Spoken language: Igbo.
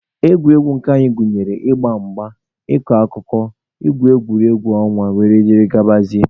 Egwuregwu nke anyị gụnyere ịgba mgba, ịkọ akụkọ, agwụgwa, egwu ọnwa wdg.